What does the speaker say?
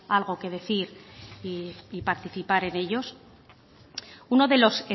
algo que decir y participar en ellos uno de los